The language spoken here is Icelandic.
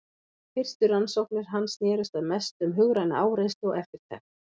Fyrstu rannsóknir hans snerust að mestu um hugræna áreynslu og eftirtekt.